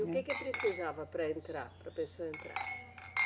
E o que que precisava para entrar, para a pessoa entrar?